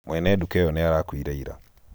mwene duka ĩyo nĩarakuire ira